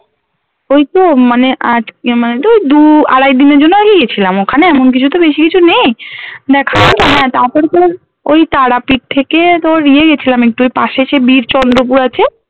ওই তো মানে আজকে মানে দু দু আড়াই দিনের জন্য আর কি গেছিলাম ওখানে এমন কিছু তো বেশি কিছু নেই হ্যাঁ তারপরে তোর ওই তারাপীঠ থেকে তোর ইয়ে গেছিলাম একটু ওই পশে সেই বিরচন্দ্রপুর আছে